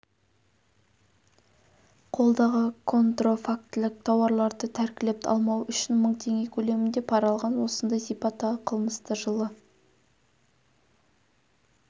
қолдағы контрафактілік тауарларды тәркілеп алмау үшін мың теңге көлемінде пара алған осындай сипаттағы қылмысты жылы